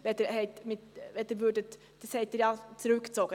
Den Punkt 2 haben Sie ja zurückgezogen.